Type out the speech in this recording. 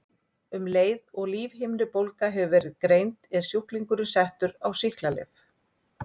Um leið og lífhimnubólga hefur verið greind er sjúklingurinn settur á sýklalyf.